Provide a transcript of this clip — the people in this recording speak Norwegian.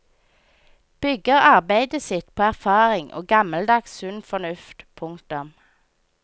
Bygger arbeidet sitt på erfaring og gammeldags sunn fornuft. punktum